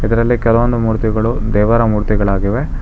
ಇದರಲ್ಲಿ ಕೆಲವೊಂದು ಮೂರ್ತಿಗಳು ದೇವರ ಮೂರ್ತಿಗಳಾಗಿವೆ.